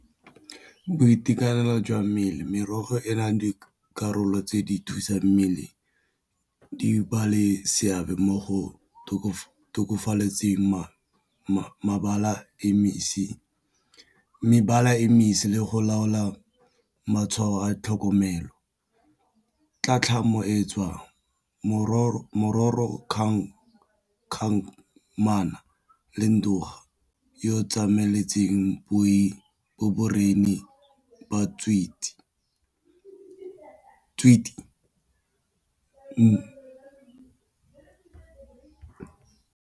Boitekanelo jwa mmele merogo e e nang le dikarolo tse di thusang mmele di bale seabe mo go tokafatseng mebala emise le go laola matshwao a tlhokomelo tla tlhamo e tswang mororo kgang mana le nduga yo tsameletseng ko boreneng batsweletsi.